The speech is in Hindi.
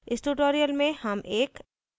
इस tutorial में हम एक